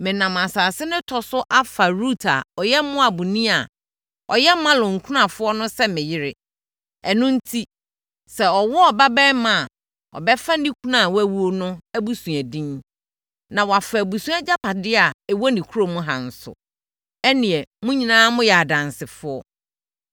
Menam asase no tɔ so afa Rut a ɔyɛ Moabni a ɔyɛ Mahlon kunafoɔ no sɛ me yere. Ɛno enti, sɛ ɔwo ɔbabarima a, ɔbɛfa ne kunu a wawu no abusua din na wafa abusua agyapadeɛ a ɛwɔ ne kurom ha nso. Ɛnnɛ, mo nyinaa moyɛ adansefoɔ.”